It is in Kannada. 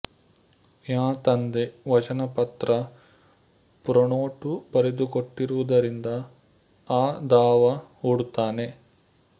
ಂಯ ತಂದೆ ಃ ವಚನಪತ್ರ ಪ್ರೋನೋಟು ಬರೆದುಕೊಟ್ಟಿರುವುದರಿಂದ ಅ ದಾವಾ ಹೂಡುತ್ತಾನೆ